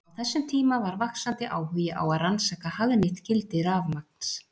Á þessum tíma var vaxandi áhugi á að rannsaka hagnýtt gildi rafmagns.